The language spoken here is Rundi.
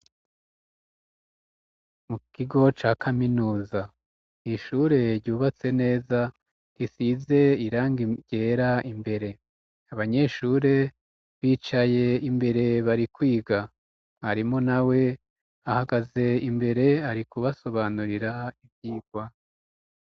Mu kigo ca kaminuza nishure ryubatse neza tisize irangigera imbere abanyeshure bicaye imbere bari kwiga karimo na we ahagaze imbere ari kubasobanurira ivyigwa.